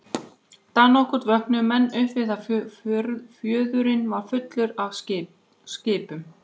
Dag nokkurn vöknuðu menn upp við að fjörðurinn var fullur af skipum.